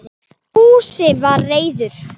Fúsi var reiður.